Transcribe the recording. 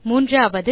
மூன்றாவது